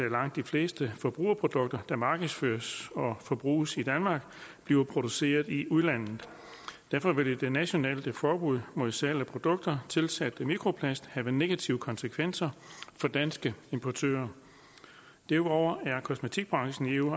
at langt de fleste forbrugerprodukter der markedsføres og forbruges i danmark bliver produceret i udlandet derfor vil et nationalt forbud mod salg af produkter tilsat mikroplast have negative konsekvenser for danske importører derudover er kosmetikbranchen i eu